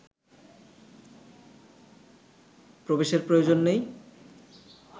প্রবেশের প্রয়োজন নেই